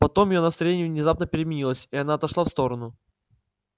потом её настроение внезапно переменилось и она отошла в сторону